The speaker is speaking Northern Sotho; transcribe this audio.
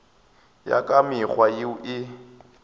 ya ka mekgwa yeo e